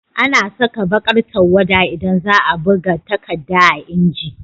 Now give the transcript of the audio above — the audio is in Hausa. Ana Saka bakar tawwada idan zaa buga takadda a inji